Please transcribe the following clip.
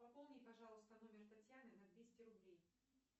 пополни пожалуйста номер татьяны на двести рублей